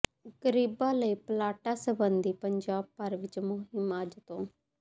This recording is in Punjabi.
ਗਰੀਬਾਂ ਲਈ ਪਲਾਟਾਂ ਸਬੰਧੀ ਪੰਜਾਬ ਭਰ ਵਿੱਚ ਮੁਹਿੰਮ ਅੱਜ ਤੋਂ